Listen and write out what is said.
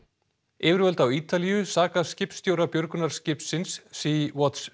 yfirvöld á Ítalíu saka skipstjóra björgunarskipsins Sea Watch